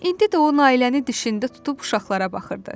İndi də o Nailəni dişində tutub uşaqlara baxırdı.